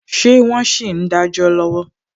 Ṣé wọn sì ń dajọ lọwọ?